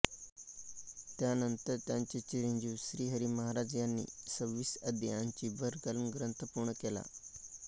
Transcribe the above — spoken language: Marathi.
त्यानंतर त्यांचे चिरंजीव श्रीहरी महाराज यांनी सव्वीस अध्यायांची भर घालून ग्रंथ पूर्ण केला